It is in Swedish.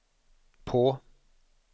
på